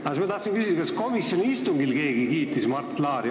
Ma tahan küsida, kas keegi komisjoni istungil kiitis Mart Laari.